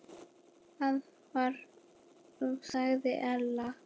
Það var og sagði Ella.